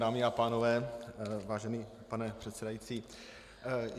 Dámy a pánové, vážený pane předsedající.